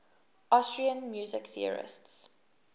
austrian music theorists